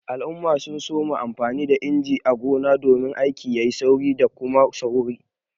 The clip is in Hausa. Mutane sun soma amfani da injina a gona domin aiki yayi sauki da Kuma sauri.